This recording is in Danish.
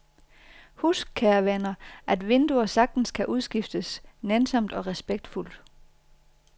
Husk, kære venner, at vinduer sagtens kan udskiftes nænsomt og respektfuldt.